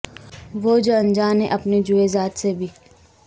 وہ جو انجان ہے اپنے جوئے ذات سے بھی